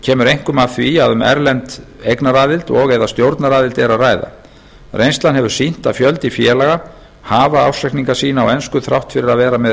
kemur einkum af því að um erlenda eignaraðild og eða stjórnaraðild er að ræða reynslan sýnir að fjöldi félaga hafa ársreikninga sína á ensku þrátt fyrir að vera með